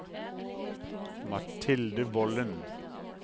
Mathilde Volden